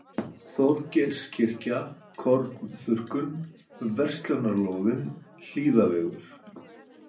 Þorgeirskirkja, Kornþurrkun, Verslunarlóðin, Hlíðavegur